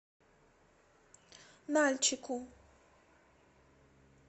нальчику